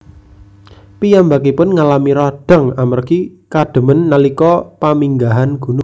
Piyambakipun ngalami radang amargi kademen nalika paminggahan gunung